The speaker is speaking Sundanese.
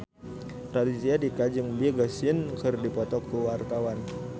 Raditya Dika jeung Big Sean keur dipoto ku wartawan